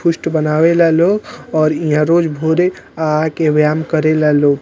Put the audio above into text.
पुस्ट बनावेला लोग और इहा रोज भोरे आ आके व्यायाम करेला लोग |